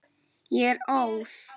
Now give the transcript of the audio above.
Ég er óð.